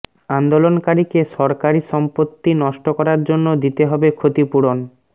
আন্দোলনকারীকে সরকারী সম্পত্তি নষ্ট করার জন্য দিতে হবে ক্ষতিপূরণ